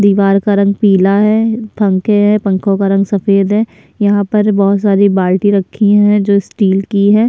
दिवार का रंग पीला है पंखे है पंखो का रंग सफ़ेद है यहाँ पर बहुत सारी बाल्टी रखी है जो स्टील की है।